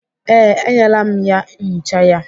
Ee, enyela m ya nchicha ya.